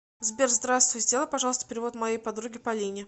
сбер здравствуй сделай пожалуйста перевод моей подруге полине